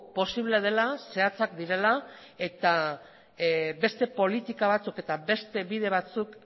posible dela zehatzak direla eta beste politika batzuk eta beste bide batzuk